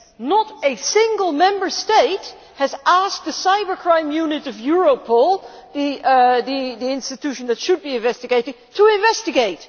Not a single Member State has asked the cyber crime unit of Europol, the institution that should be investigating, to investigate.